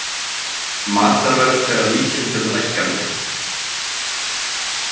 Matarverð fer að líkindum lækkandi